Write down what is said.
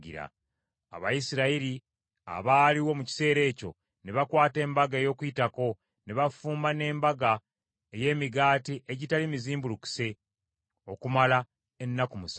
Abayisirayiri abaaliwo mu kiseera ekyo, ne bakwata Embaga ey’Okuyitako, ne bafumba n’embaga ey’Emigaati egitali mizimbulukuse, okumala ennaku musanvu.